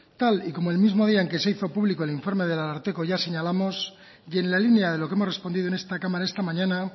tal y como el mismo día en que se hizo público el informe del ararteko ya señalamos y en la línea de lo que hemos respondido en esta cámara esta mañana